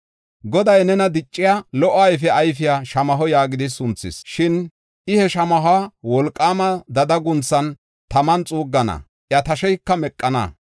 Goday nena, dicciya, lo77o ayfe ayfiya shamaho yaagidi sunthis. Shin, I he shamahuwa wolqaama dada guunthan, taman xuuggana; iya tasheyka meqana.